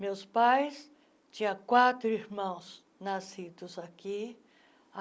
Meus pais... Tinha quatro irmãos nascidos aqui.